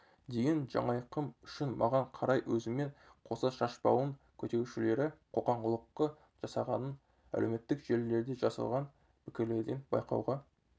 деген жанайқайым үшін маған қарай өзімен қоса шашбауын көтерушілері қоқаң-лоққы жасағанын әлеуметтік желілерде жазылған пікірлерден байқауға